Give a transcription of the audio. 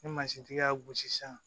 Ni mansintigi y'a gosi sisan